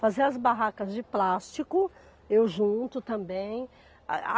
Fazer as barracas de plástico, eu junto também. A a